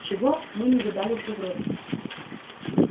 чего мы не видали в европе